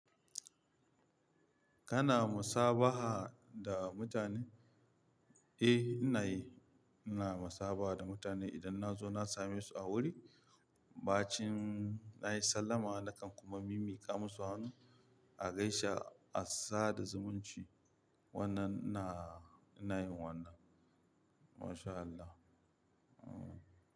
Kana musabaha da mutane? Eh, ina yi. Ina musabaha da mutane idan nazo na samesu a guri, bacin nayi sallama nakan kuma mimmiƙa musu hannu a gaisa a sada zumunci. Wannan ina, ina yin wannan. MashAllah.